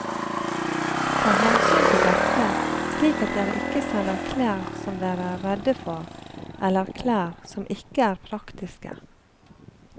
Ta hensyn til dette slik at dere ikke sender klær som dere er redde for eller klær som ikke er praktiske.